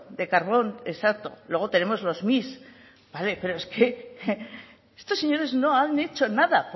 de carbón exacto luego tenemos los mix pero es que estos señores no han hecho nada